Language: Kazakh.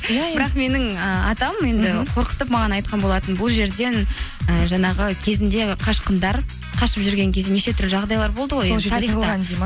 бірақ менің ыыы атам енді қорқытып маған айтқан болатын бұл жерден ііі жаңағы кезінде қашқындар қашып жүрген кезінде неше түрлі жағдайлар болды ғой